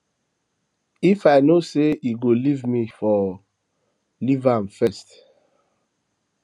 if i no say he go leave me i for um leaveam first